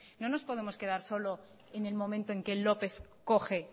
no nos podemos quedar solo en el momento en que lópez coge